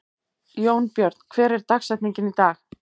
Jónbjörn, hver er dagsetningin í dag?